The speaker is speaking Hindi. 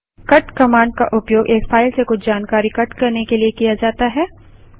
कट कमांड का उपयोग एक फाइल से कुछ जानकारी कट करने के लिए किया जाता है